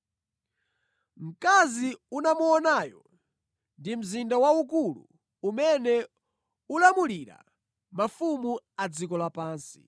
Mkazi unamuonayo ndi mzinda waukulu umene ulamulira mafumu a dziko lapansi.”